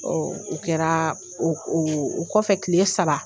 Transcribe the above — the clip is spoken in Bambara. Ɔ u kɛraa, o kɔfɛ kile saba.